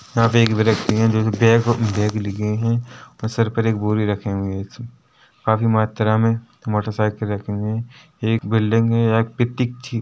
यहाँ पे एक व्यक्ति हैं जो कि बैग लिए हुए है सिर पर बोरी रखे हुए हैं काफी मात्रा मे मोटरसाइकिल रखे हुए हैं एक बिल्डिंग है एक पिरतिक--